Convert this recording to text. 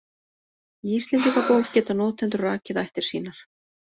Í Íslendingabók geta notendur rakið ættir sínar.